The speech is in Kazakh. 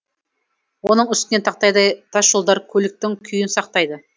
оның үстіне тақтайдай тасжолдар көліктің күйін сақтайды